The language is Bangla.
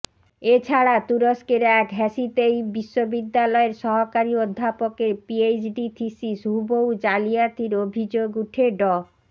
এ ছাড়া তুরস্কের এক হ্যাসিতেইপ বিশ্ববিদ্যালয়ের সহকারী অধ্যাপকের পিএইচডি থিসিস হুবহু জালিয়াতির অভিযোগ ওঠে ড